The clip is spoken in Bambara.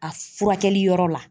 A furakɛli yɔrɔ la